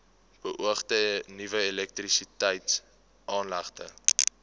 beoogde nuwe elektrisiteitsaanlegte